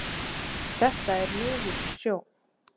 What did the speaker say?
Þetta er niður í sjó.